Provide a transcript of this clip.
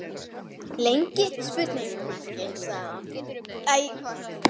Lengi? sagði hann.